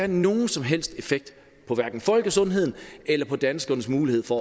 nogen som helst effekt på hverken folkesundheden eller på danskernes mulighed for